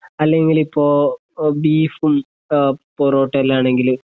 അല്ലെങ്കിലിപ്പോ ബീഫും ആഹ് പൊറോട്ടല് ആണെങ്കില്